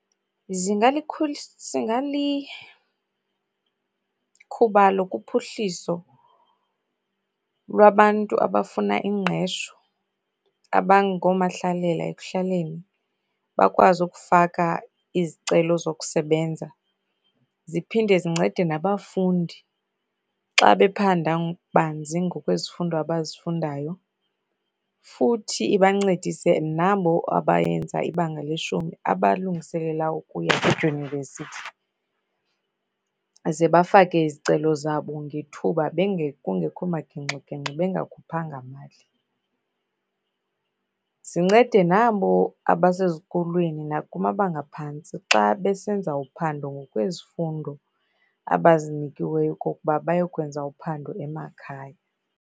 Zingalikhubalo kuphuhliso lwabantu abafuna ingqesho abangoomahlalela ekuhlaleni bakwazi ukufaka izicelo zokusebenza. Ziphinde zincede nabafundi xa bephanda banzi ngokwezifundo abazifundayo, futhi iba ncedise nabo abayenza ibanga leshumi abalungiselela ukuya kwidyunivesithi ze bafake izicelo zabo ngethuba kungekho magingxigingxi, bengakhuphanga mali. Zincede nabo abasezikolweni nakumabanga aphantsi xa besenza uphando ngokwezifundo abazinikiweyo okokuba bayokwenza uphando emakhaya.